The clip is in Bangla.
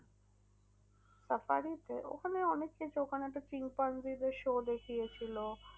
Safari তে ওখানে অনেক কিছু ওখানে তো শিম্পাঞ্জিদের show দেখিয়েছিল।